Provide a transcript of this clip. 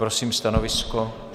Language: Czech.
Prosím stanovisko?